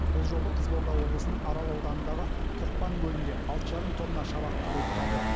бұл жолы қызылорда облысының арал ауданындағы тоқпан көлінде алты жарым тонна шабақ қырылып қалды